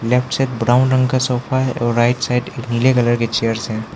Left side brown रंग का sofa है और राइट साइड नीले कलर की चेयर्स हैं।